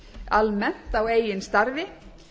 almennt á eigin starfi